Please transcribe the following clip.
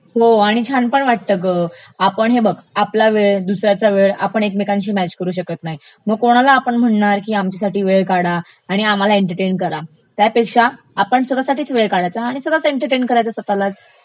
हो आणि छान पण वाटतं ग..आपण हे बघ, आपला वेळ दुसऱ्याचा वेळ आपण ऐकमेकांशी मॅच करू शकत नाही, मग कोणाला आपण म्हणणार की आमच्यासाठी वेळ काढा आणि आम्हाला एंटरटेन करा, त्यापेक्षा आपण स्वतःसाठीच वेळ काढायचा आणि स्वतःचं एंटरटेन करायचं स्वतःलाच..